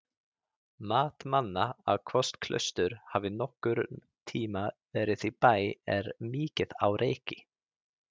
Mat manna á hvort klaustur hafi nokkurn tímann verið í Bæ er mikið á reiki.